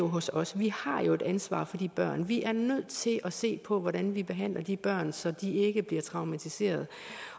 hos os vi har jo et ansvar for de børn vi er nødt til at se på hvordan vi behandler de børn så de ikke bliver traumatiseret